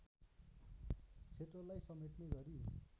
क्षत्रेलाई समेट्ने गरी